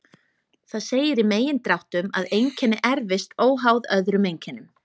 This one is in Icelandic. Það segir í megindráttum að einkenni erfist óháð öðrum einkennum.